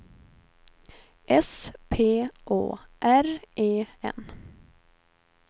S P Å R E N